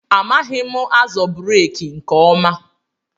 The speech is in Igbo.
Amaghị m azọ breeki nke ọma.